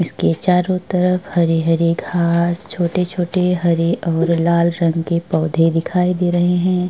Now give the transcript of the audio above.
इसके चारों तरफ़ हरी हरी घास छोटे छोटे हरे और लाल रंग के पोधे दिखाई दे रहे है।